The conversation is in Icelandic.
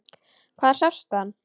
Hvar sástu hann?